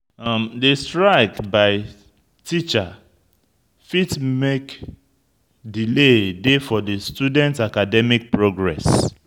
Di strike by teacher fit make delay dey for di student academic progress